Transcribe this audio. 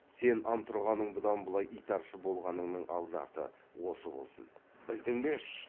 сен антұрғанның бұдан былай итаршы болғаныңның алды арты осы болсын білдің бе